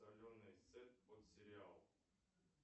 соленый сет под сериал